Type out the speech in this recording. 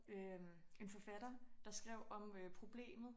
Øh en forfatter der skrev om problemet